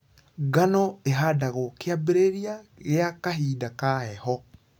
Ngano ĩhandagwo kĩambĩriria gia kahinda ka heho.